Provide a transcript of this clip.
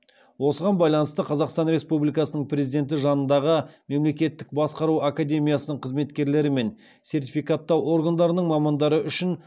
осыған байланысты қазақстан республикасының президенті жанындағы мемлекеттік басқару академиясының қызметкерлері мен сертификаттау органдарының мамандары үшін